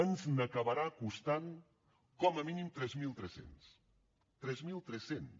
ens n’acabarà costant com a mínim tres mil tres cents tres mil tres cents